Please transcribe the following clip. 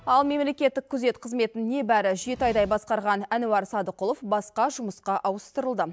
ал мемлекеттік күзет қызметін небәрі жеті айдай басқарған әнуар садықұлов басқа жұмысқа ауыстырылды